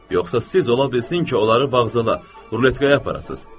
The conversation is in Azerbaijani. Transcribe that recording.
Yoxsa siz ola bilsin ki, onları vağzala, ruletkaya aparasız?